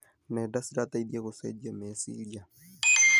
Nenda cirateithia gũcenjia meciria.